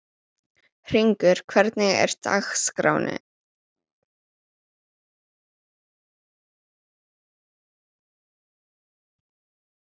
Hringur, hvernig er dagskráin?